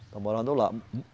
Estão morando lá.